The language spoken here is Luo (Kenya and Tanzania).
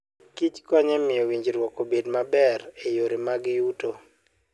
Kich konyo e miyo winjruok obed maber e yore mag yuto.